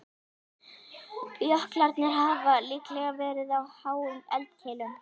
Jöklarnir hafa líklega verið á háum eldkeilum.